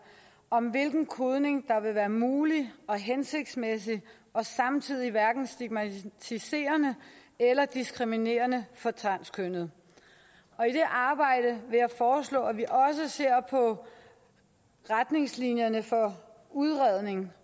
om hvilken kodning der vil være mulig og hensigtsmæssig og samtidig hverken stigmatiserende eller diskriminerende for transkønnede og i det arbejde vil jeg foreslå at vi også ser på retningslinjerne for udredning